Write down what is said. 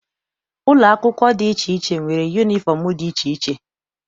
Ụlọ akwụkwọ dị iche iche nwere yunifọm dị iche iche.